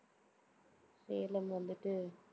சேலம் வந்துட்டு